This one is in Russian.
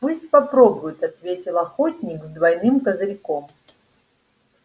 пусть попробует ответил охотник с двойным козырьком